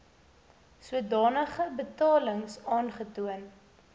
sodanige betalings aantoon